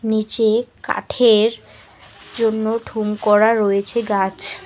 নীচে কাঠের জন্য ঠুম করা রয়েছে গাছ।